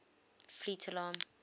fleet air arm